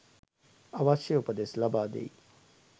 අවශ්‍ය උපදෙස් ලබාදෙයි.